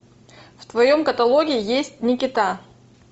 в твоем каталоге есть никита